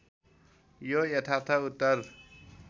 यो यथार्थ उत्तर